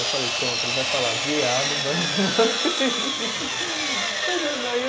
Eu falei, pronto, ele vai falar, viado, vai